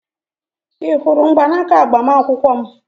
Ị hụrụ mgbanaka agbamakwụkwọ m?